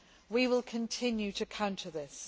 We will continue to counter this.